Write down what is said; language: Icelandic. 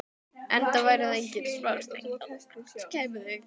Enda væru þetta engin smá stykki, loksins þegar þau kæmu.